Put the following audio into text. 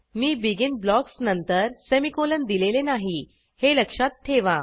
मी begin blocks नंतर semicolon दिलेले नाही हे लक्षात ठेवा